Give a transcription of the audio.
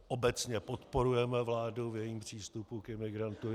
Obecně podporujeme vládu v jejím přístupu k imigrantům.